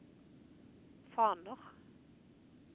faner